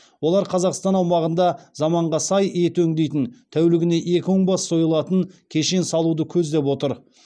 олар қазақстан аумағында заманға сай ет өңдейтін тәулігіне екі мың бас сойылатын кешен салуды көздеп отыр